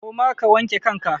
Koma ka wanke kanka!